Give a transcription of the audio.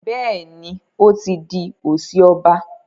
Béèni o tí dì osi ọba.